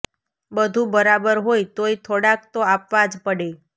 બધું બરાબર હોય તોય થોડાક તો આપવા જ પડે